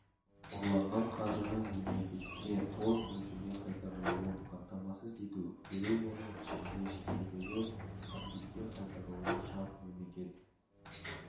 ұрланған қаржының мемлекетке толық мөлшерде қайтарылуын қамтамасыз ету керек оның ішінде шетелдегі активтер қайтарылуы шарт мемлекет